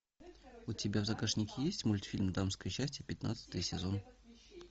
у тебя в загашнике есть мультфильм дамское счастье пятнадцатый сезон